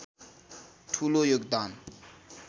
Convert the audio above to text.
ठूलो योगदान